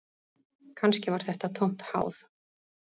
Kannski var þetta tómt háð